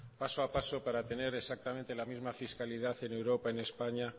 paso a paso para tener exactamente la misma fiscalidad en europa en españa